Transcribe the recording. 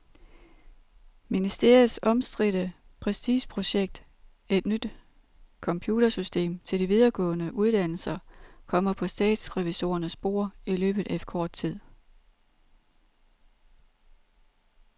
Ministeriets omstridte prestigeprojekt, et nyt computersystem til de videregående uddannelser, kommer på statsrevisorernes bord i løbet af kort tid.